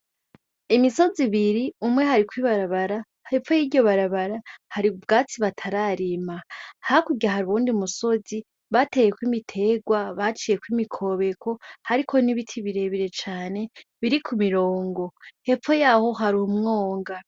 Imisozi ibiri ,umwe hariko ibarabara hepfo yiryo barabara hari ubgatsi batararima ,hakurya hari uyundi musozi bateyeko ibitegwa baciyeko imikobeko hariko nibiti birebire cane biri ku mirongo hepfo yaho hari umwonga.